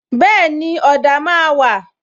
Bẹẹni, ọ̀dà máa wà